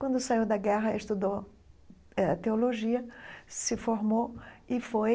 Quando saiu da guerra, estudou eh teologia, se formou e foi